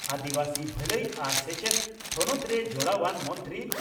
ᱟᱹᱫᱤᱵᱟᱹᱥᱤ ᱵᱷᱟᱹᱞᱟᱹᱭ ᱟᱨ ᱥᱮᱪᱮᱛ ᱛᱷᱚᱱᱚᱛᱨᱮ ᱡᱚᱲᱟᱣᱟᱱ ᱢᱚᱱᱛᱨᱤ